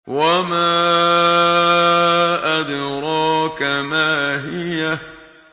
وَمَا أَدْرَاكَ مَا هِيَهْ